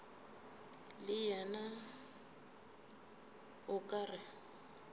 le yena o ka re